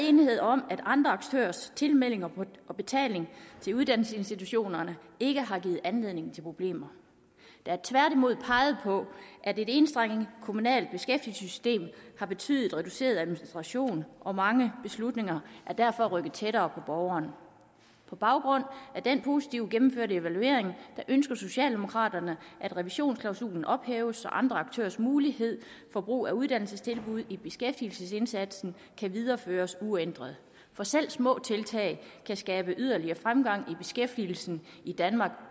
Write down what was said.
enighed om at andre aktørers tilmelding og betaling til uddannelsesinstitutionerne ikke har givet anledning til problemer der er tværtimod peget på at et enstrenget kommunalt beskæftigelsessystem har betydet reduceret administration og mange beslutninger er derfor rykket tættere borgeren på baggrund af den positive gennemførte evaluering ønsker socialdemokraterne at revisionsklausulen ophæves så andre aktørers mulighed for brug af uddannelsestilbud i beskæftigelsesindsatsen kan videreføres uændret for selv små tiltag kan skabe yderligere fremgang i beskæftigelsen i danmark